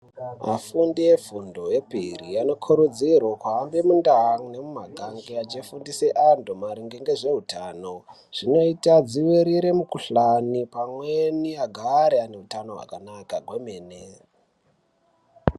Vafundi vefundo yepiri, anokurudzirwe kuhambe mundau nemumagange, achifundise antu ngezveutano zvinoita adzivirire mikhuhlani, pamweni vagare vane utano hwakanaka kwemene.